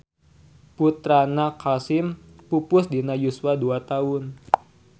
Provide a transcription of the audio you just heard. Putrana Qasim pupus dina yuswa dua taun.